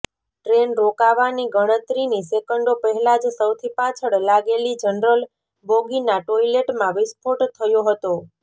train રોકાવાની ગણતરીની સેકન્ડો પહેલા જ સૌથી પાછળ લાગેલી જનરલ બોગીના ટોયલેટમાં વિસ્ફોટ થયો હતો